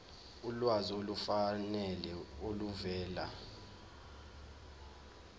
ulwazi olufanele oluvela